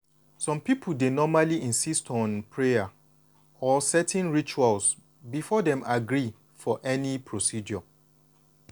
some people dey normally insist on prayer or certain rituals before dem agree for any procedure.